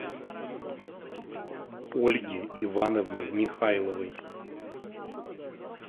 ольги ивановны михайловой